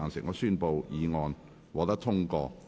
我宣布議案獲得通過。